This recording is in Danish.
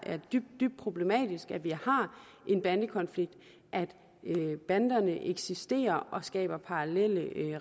er dybt dybt problematisk at vi har en bandekonflikt og at banderne eksisterer og skaber parallelle